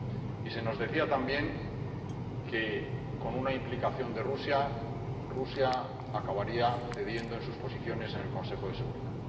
Y se nos decía también que, con la implicación de Rusia, Rusia acabaría cediendo en sus posiciones en el Consejo de Seguridad.